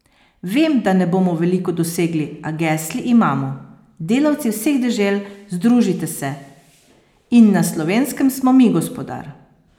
Vem, da ne bomo veliko dosegli, a gesli imamo: "Delavci vseh dežel, združite se" in "Na Slovenskem smo mi gospodar"!